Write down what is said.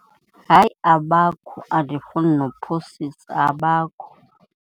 Hayi, abakho. Andifuni nokuphosisa, abakho.